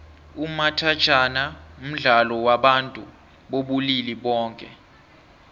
umathajhana mdlalo wabantu bobulili boke